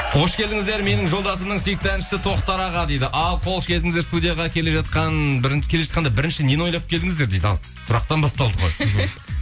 қош келдіңіздер менің жолдасымның сүйікті әншісі тоқтар аға дейді ал қош келдіңіздер студияға келе жатқанда бірінші нені ойлап келдіңіздер дейді ал сұрақтан басталды ғой